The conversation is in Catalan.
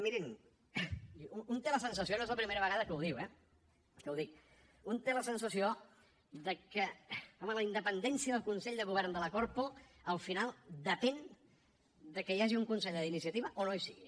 mirin un té la sensació no és la primera vegada que ho diu eh que ho dic de que home la independència del consell de govern de la corpo al final depèn de que hi hagi un conseller d’iniciativa o no hi sigui